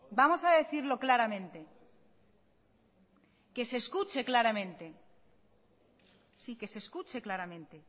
vamos a decirlo claramente que se escuche claramente